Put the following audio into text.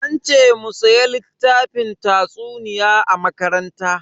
An ce mu siya littafin tatsuniya a makaranta.